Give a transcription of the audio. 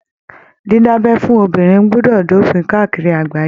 Dida'bẹ́ fún obìnrin gbọdọ dopin káàkiri àgbáyé.